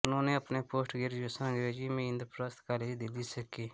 उन्होंने अपनी post graduation अंग्रेजी में इंद्रप्रस्थ कॉलेज दिल्ली से की